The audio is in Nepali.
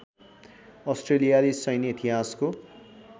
अस्ट्रेलियाली सैन्य इतिहासको